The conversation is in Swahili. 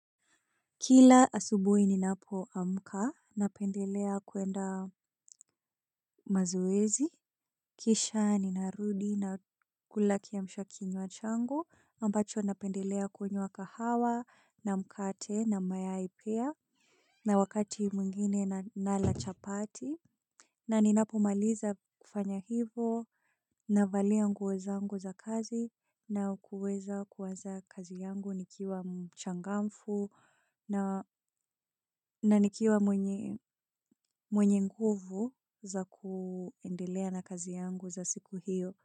Kila asubui ninapoamka, napendelea kuenda mazoezi, kisha ninarudi na kula kiamsha kinywa changu, ambacho napendelea kunywa kahawa, na mkate, na mayai pia, na wakati mwingine nala chapati. Na ninapomaliza kufanya hivyo navalia nguo zangu za kazi na kuweza kuanza kazi yangu nikiwa mchangamfu na nikiwa mwenye nguvu za kuendelea na kazi yangu za siku hiyo.